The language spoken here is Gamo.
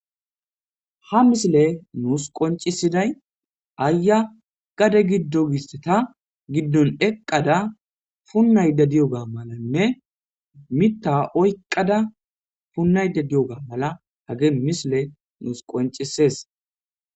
Ha misile nuus qoncisiday aaya gade giddo giste ta giddon eqqada punnayde diyoga malanne mitta oyqqada punnayde di7oga mala hage misile nuus qoncisees.